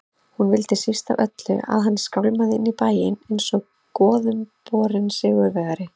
Hún vildi síst af öllu að hann skálmaði inn í bæinn einsog goðumborinn sigurvegari.